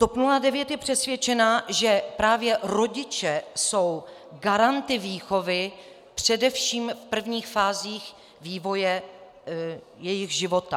TOP 09 je přesvědčena, že právě rodiče jsou garanty výchovy především v prvních fázích vývoje jejich života.